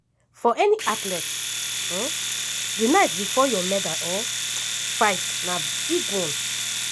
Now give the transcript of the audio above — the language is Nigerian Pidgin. for any athlete di night bifor your medal-fight na big one.